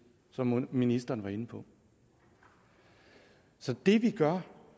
som ministeren var inde på så det vi gør